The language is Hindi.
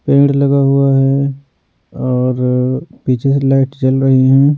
पेड़ लगा हुआ है और पीछे से लाइट जल रही है।